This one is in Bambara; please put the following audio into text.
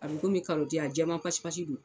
A bɛ komi karɔti a jɛɛma pasi pasi do.